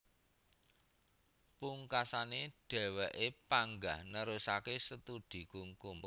Pungkasané dhèwèké panggah nerusaké studi kukum